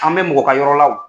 An bɛ mɔgɔ ka yɔrɔ la o.